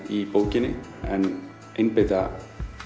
í bókinni en einbeita